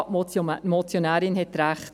Ja, die Motionärin hat recht: